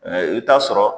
i bɛ taa sɔrɔ